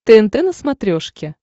тнт на смотрешке